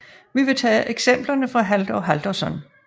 Vi tage eksemplerne fra Halldór Halldórsson